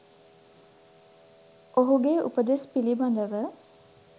ඔහුගේ උපදෙස් පිළිබඳව